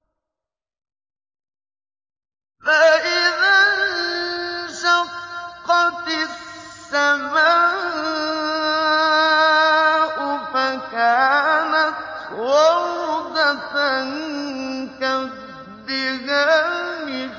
فَإِذَا انشَقَّتِ السَّمَاءُ فَكَانَتْ وَرْدَةً كَالدِّهَانِ